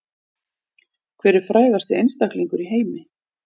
Hver er frægasti einstaklingur í heimi